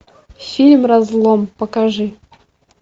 фильм разлом покажи